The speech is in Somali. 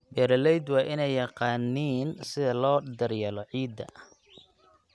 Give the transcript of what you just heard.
Beeraleydu waa inay yaqaaniin sida loo daryeelo ciidda.